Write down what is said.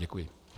Děkuji.